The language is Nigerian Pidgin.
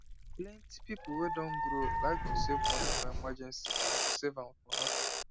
plenty people wey don grow like to save money for emergency than to save am for nothing